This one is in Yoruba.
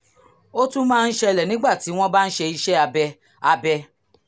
ó tún máa ń ṣẹlẹ̀ nígbà tí wọ́n bá ń ṣe iṣẹ́ abẹ abẹ